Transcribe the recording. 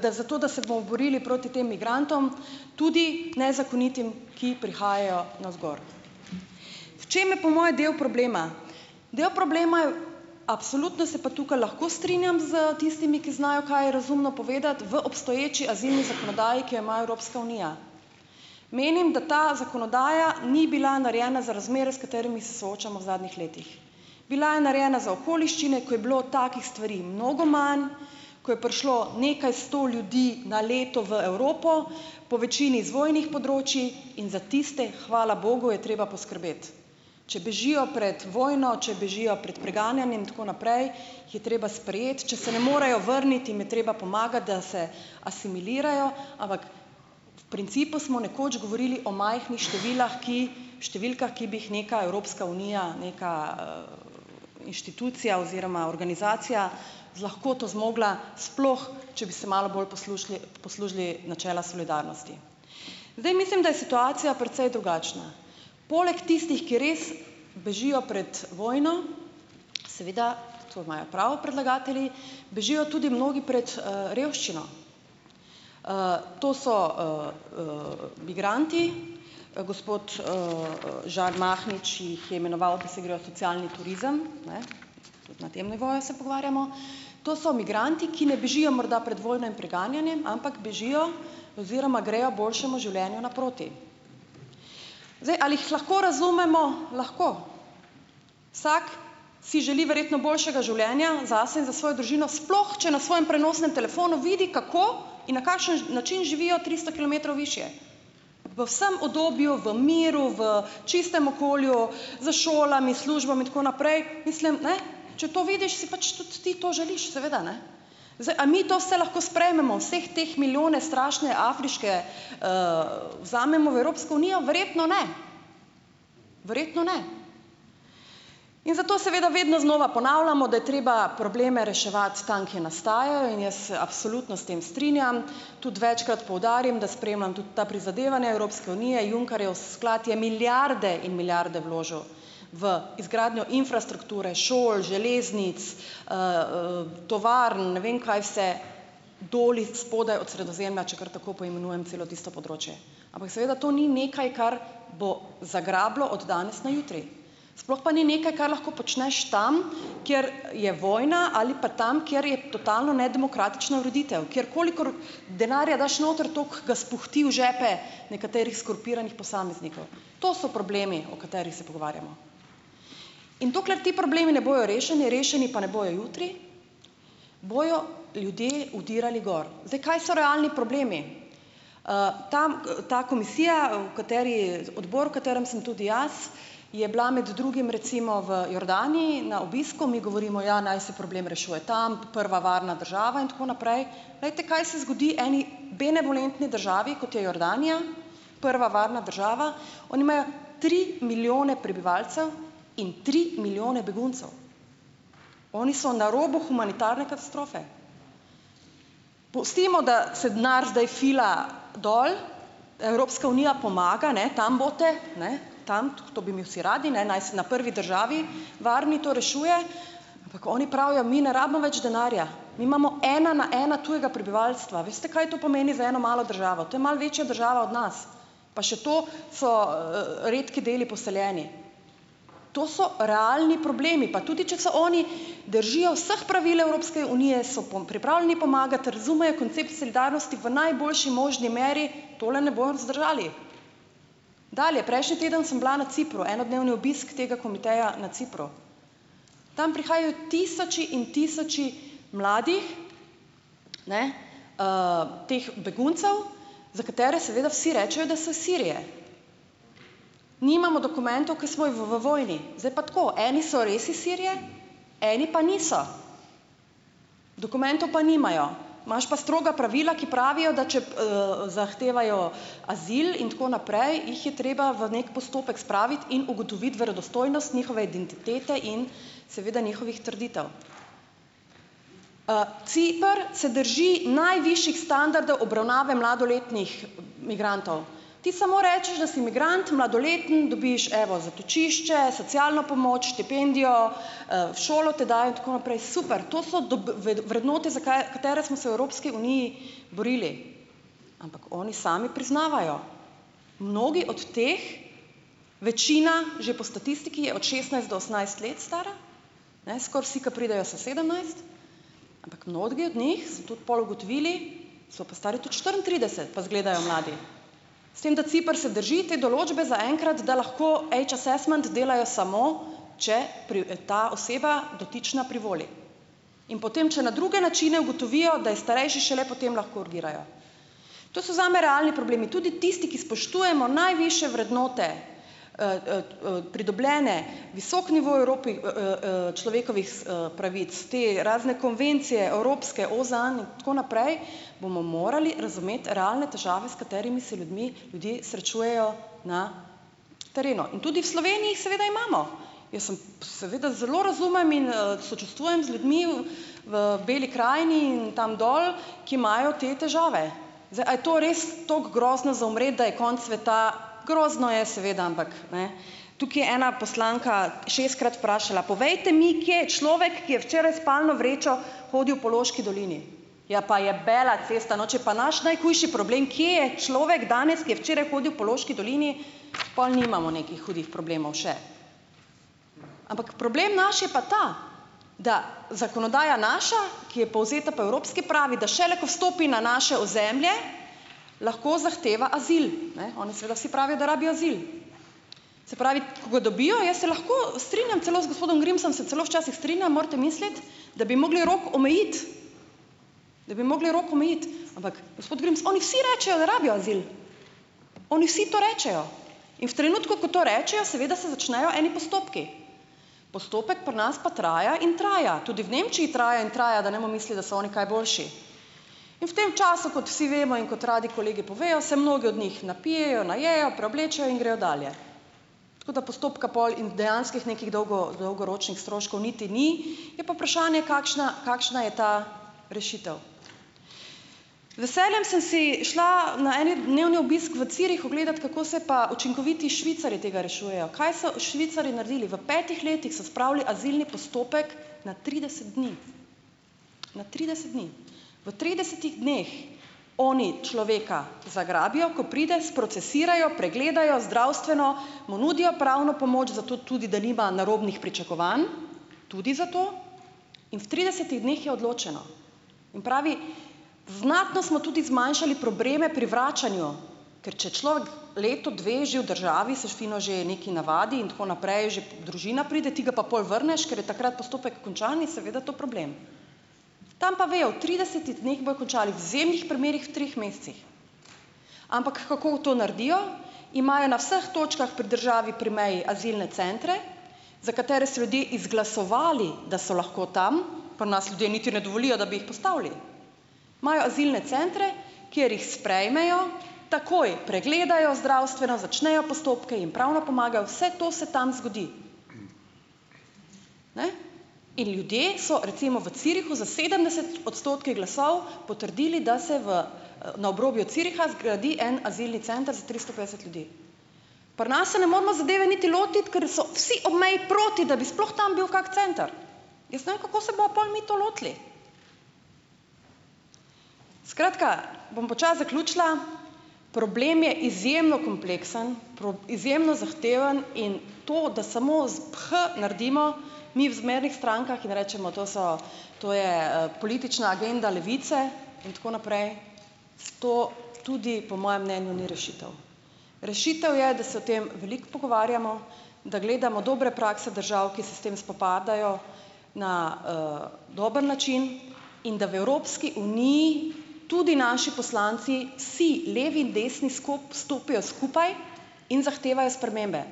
da zato da se bomo borili proti tem migrantom tudi nezakonitim, ki prihajajo navzgor, v čem je po moje del problema? Del problema je v, absolutno se pa tukaj lahko strinjam s tistimi, ki znajo, kaj je razumno povedati v obstoječi azilni zakonodaji, ki jo ima Evropska unija, menim, da ta zakonodaja ni bila narejena za razmere, s katerimi se soočamo v zadnjih letih, bila je narejena za okoliščine, ko je bilo takih stvari mnogo manj, ko je prišlo nekaj sto ljudi na leto v Evropo, po večini z vojnih področij, in za tiste hvala bogu je treba poskrbeti, če bežijo pred vojno, če bežijo pred preganjanjem tako naprej, je treba sprejeti, če se ne morejo vrniti, jim je treba pomagati, da se asimilirajo, ampak principu smo nekoč govorili o majhnih številkah, ki številkah, ki bi jih neka Evropska unija, neka inštitucija oziroma organizacija z lahkoto zmogla, sploh če bi se malo bolj poslužili poslužili načela solidarnosti, zdaj mislim, da je situacija precej drugačna, poleg tistih, ki res bežijo pred vojno, seveda, to imajo prav predlagatelji, bežijo tudi mnogi pred revščino, to so migranti, gospod Žan Mahnič jih je imenoval, pa se grejo socialni turizem, ne, na tem nivoju se pogovarjamo, to so migranti, ki ne bežijo morda pred vojno in preganjanjem, ampak bežijo oziroma grejo boljšemu življenju naproti, zdaj, ali jih lahko razumemo, lahko, vsak si želi verjetno boljšega življenja zase in za svojo družino, sploh če na svojem prenosnem telefonu vidi, kako in na kakšen način živijo tristo kilometrov višje v vsem obdobju v miru, v čistem okolju, s šolami službami in tako naprej, mislim, ne, če to vidiš, si pač tudi ti to želiš, seveda, ne. Zdaj, a mi to se lahko sprejmemo vseh teh milijone strašne afriške vzamemo v Evropsko unijo? Verjetno ne, verjetno ne in zato seveda vedno znova ponavljamo, da je treba probleme reševati tam, kje nastajajo, in jaz se absolutno s tem strinjam, tudi večkrat poudarim, da spremljam tudi ta prizadevanja Evropske unije, Junckerjev sklad je milijarde in milijarde vložil v izgradnjo infrastrukture, šol, železnic, tovarn, ne vem kaj vse, dol spodaj od Sredozemlja, če kar tako poimenujem celo tisto področje, ampak seveda to ni nekaj, kar bo zagrabilo od danes na jutri, sploh pa ni nekaj, kar lahko počneš tam, kjer je vojna, ali pa tam, kjer je totalno nedemokratična ureditev, kjer, kolikor denarja daš noter, toliko ga spuhti v žepe nekaterih skorumpiranih posameznikov, to so problemi, o katerih se pogovarjamo, in dokler ti problemi ne bojo rešeni, rešeni pa ne bojo jutri, bojo ljudje vdirali gor, zdaj, kaj so realni problemi, tam ta komisija, o kateri odbor, v katerem sem tudi jaz, je bila med drugim recimo v Jordaniji na obisku, mi govorimo, ja, naj se problem rešuje, tam prva varna država in tako naprej, glejte, kaj se zgodi eni benevolentni državi, kot je Jordanija, prva varna država, oni imajo tri milijone prebivalcev in tri milijone beguncev, oni so na robu humanitarne katastrofe, pustimo, da se denar zdaj fila dol, Evropska unija pomaga, ne, tam boste, ne, tam, to bi mi vsi radi, ne, naj se na prvi državi varni to rešuje, pa ko oni pravijo: "Mi ne rabimo več denarja, mi imamo ena na ena tujega prebivalstva." Veste, kaj to pomeni za eno malo državo? To je malo večja država od nas pa še to so redki deli poseljeni, to so realni problemi, pa tudi če so oni držijo vseh pravil Evropske unije, so pripravljeni pomagati, razumejo koncept solidarnosti v najboljši možni meri, tole ne bojo vzdržali, dalje, prejšnji teden sem bila na Cipru, enodnevni obisk tega komiteja na Cipru, tam prihajajo tisoči in tisoči mladi, ne, teh beguncev, za katere seveda vsi rečejo, da so iz Sirije, nimajo dokumentov, ko smo v v vojni zdaj, pa tako eni so res iz Sirije, eni pa niso, dokumentov pa nimajo, imaš pa stroga pravila, ki pravijo, da če zahtevajo azil in tako naprej, jih je treba v nek postopek spraviti in ugotoviti verodostojnost njihove identitete in seveda njihovih trditev, Ciper se drži najvišjih standardov obravnave mladoletnih migrantov, ti samo rečeš, da si migrant mladoleten, dobiš evo zatočišče, socialno pomoč, štipendijo, v šolo te dajo tako naprej, super, to so vrednote, za kaj katere smo se v Evropski uniji borili, ampak oni sami priznavajo, mnogi od teh, večina že po statistiki je od šestnajst do osemnajst let stara, ne, skoraj si, ko pridejo so sedemnajst, ampak notge od njih smo tudi pol ugotovili, so pa stari tudi štiriintrideset pa izgledajo mladi, s tem da Ciper se drži te določbe zaenkrat, da lahko age assessment delajo samo, če ta oseba dotična privoli, in potem če na druge načine ugotovijo, da je starejši, šele potem lahko urgirajo, to so zame realni problemi, tudi tisti, ki spoštujemo najvišje vrednote pridobljene, visok nivo v Evropi človekovih pravic te razne konvencije evropske, OZN in tako naprej, bomo morali razumeti realne težave, s katerimi se ljudmi ljudi srečujejo na terenu in tudi v Sloveniji jih seveda imamo, jaz sem seveda zelo razumem in in sočustvujem z ljudmi v Beli krajini in tam dol, ki imajo te težave, zdaj, a je to res tako grozno a umret, da je konec sveta, grozno je, seveda, ampak, ne, tukaj je ena poslanka šestkrat vprašala: "Povejte mi, kje je človek, ki je včeraj s spalno vrečo hodil po Loški dolini." Ja pa jebela cesta, no, če je pa naš najhujši problem, kje je človek danes, ki je včeraj hodil po Loški dolini, pol nimamo nekih hudih problemov še, ampak problem naš je pa ta, da zakonodaja naša, ki je povzeta po evropski, pravi, da šele ko stopi na naše ozemlje, lahko zahteva azil, ne, oni seveda vsi pravijo, da rabijo azil, se pravi, ko ga dobijo, jaz se lahko strinjam celo z gospodom Grimsom, se celo včasih strinjam, morate misliti, da bi mogli rok omejiti, da bi mogli rok omejiti, ampak, gospod Grims, oni vsi rečejo, da rabijo azil, oni vsi to rečejo, in v trenutku, ko to rečejo, seveda se začnejo eni postopki, postopek pri nas pa traja in traja, tudi v Nemčiji traja in traja, da ne bomo mislili, da so oni kaj boljši, in v tem času, kot vsi vemo in kot radi kolegi povejo, se mnogi od njih napijejo, najejo, preoblečejo in grejo dalje, tako da postopka pol in dejanskih nekih dolgo dolgoročnih stroškov niti ni, je pa vprašanje, kakšna kakšna je ta rešitev, z veseljem sem si šla na eni dnevni obisk v Zürichu gledat, kako se pa učinkoviti Švicarji tega rešujejo. Kaj so Švicarji naredili? V petih letih so spravili azilni postopek na trideset dni, na trideset dni, v tridesetih dneh oni človeka zagrabijo, ko pride, sprocesirajo, pogledajo zdravstveno, mu nudijo pravno pomoč, zato tudi da nima narobnih pričakovanj, tudi zato, in v tridesetih dneh je odločeno in pravi: "Znatno smo tudi zmanjšali probleme pri vračanju, ker če človek leto, dve že v državi, se fino že nekaj navadi in tako naprej, že družina pride, ti ga pa pol vrneš, ker je takrat postopek končan in je seveda to problem." Tam pa vejo: v tridesetih dneh bojo končali, v izjemnih primerih v treh mesecih, ampak kako to naredijo? Imajo na vseh točkah pri državi pri meji azilne centre, za katere so ljudje izglasovali, da so lahko tam, pri nas ljudje niti ne dovolijo, da bi jih postavili, imajo azilne centre, kjer jih sprejmejo, takoj pregledajo zdravstveno, začnejo postopke, jim pravno pomagajo, vse to se tam zgodi, ne, in ljudje so recimo v Zürichu za sedemdeset odstotkov glasov potrdili, da se v na obrobju Züricha zgradi en azilni center za tristo petdeset ljudi, pri nas se ne moremo zadeve niti lotiti, ker so vsi ob meji proti, da bi sploh tam bil kak center, jaz ne vem, kako se bomo pol mi to lotili, skratka, bom počasi zaključila, problem je izjemno kompleksen, izjemno zahteven in to, da samo z ph naredimo, mi v zmernih strankah, jim rečemo: "To so, to je politična agenda Levice in tako naprej," - s to tudi po mojem mnenju ni rešitev, rešitev je, da se o tem veliko pogovarjamo, da gledamo dobre prakse držav, ki se s tem spopadajo na dober način, in da v Evropski uniji tudi naši poslanci si levi in desni stopijo skupaj in zahtevajo spremembe,